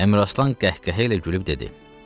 Əmir Aslan qəhqəhə ilə gülüb dedi: